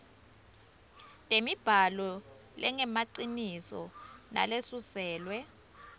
temibhalo lengemaciniso nalesuselwe